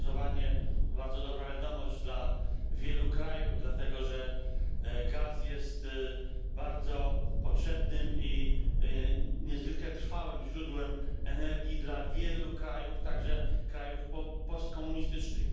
To głosowanie to bardzo dobra wiadomość dla wielu krajów, dlatego że gaz jest bardzo potrzebnym i niezwykle trwałym źródłem energii dla wielu krajów, także krajów postkomunistycznych.